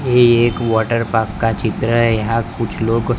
ये एक water park का चित्र है यहां कुछ लोग--